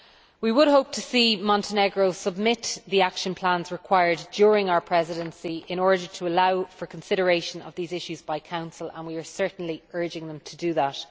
We would hope to see Montenegro submit the required action plans during our Presidency in order to allow for consideration of these issues by the Council, and we are certainly urging them to do that.